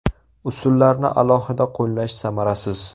Usullarni alohida qo‘llash samarasiz.